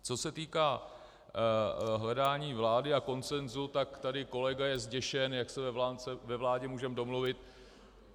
Co se týká hledání vlády a konsenzu, tak tady kolega je zděšen, jak se ve vládě můžeme domluvit.